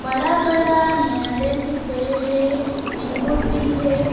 बड़ा बड़ा नारियल की पेड़ है मैंगो ट्री है।